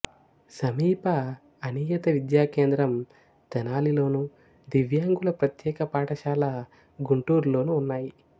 సమీప అనియత విద్యా కేంద్రం తెనాలిలోను దివ్యాంగుల ప్రత్యేక పాఠశాల గుంటూరులోనూ ఉన్నాయి